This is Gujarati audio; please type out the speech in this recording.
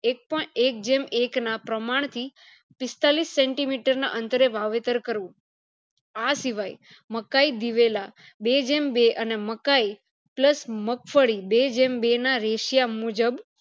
એક એક ના પ્રમાણ થી પિસ્તાલીસ centimeter ના અંતરે વાવેતર કરવું આ સિવાય મકાય બેવેલા બેજેમ બે અને મકાય plus મગફળી બે જેમ બે ના ratio મુજબ